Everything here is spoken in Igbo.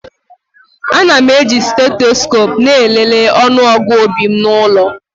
Ana m eji steetesikopu na-elele ọnụọgụ obi m n'ụlọ.